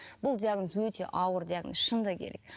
бұл диагноз өте ауыр диагноз шындығы керек